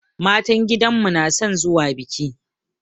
Matan gidanmu na son zuwa biki.